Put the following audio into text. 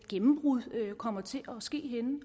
gennembrud kommer til at ske henne